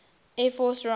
air force raaf